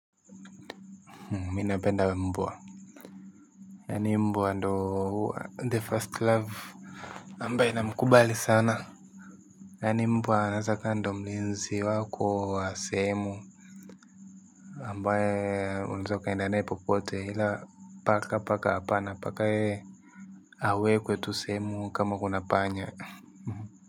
Mi napenda mbwa yaani mbwa ndio the first love ambaye namkubali sana yaani mbwa anaeza akawa ndio mlinzi wako wa sehemu ambaye unaez ukaenda naye popote ila paka paka hapana paka awekwe tu sehemu kama kuna panya.